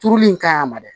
Turuli in ka ɲi a ma dɛ